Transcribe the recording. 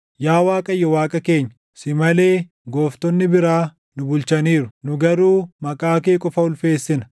Yaa Waaqayyo Waaqa keenya, si malee gooftonni biraa nu bulchaniiru; nu garuu maqaa kee qofa ulfeessina.